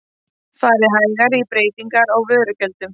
Farið hægar í breytingar á vörugjöldum